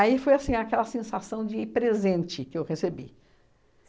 Aí foi assim, aquela sensação de ir presente que eu recebi.